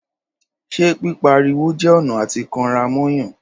Ṣẹ pi pá rí wò jẹ ọnà àti kan rà mo Yan?.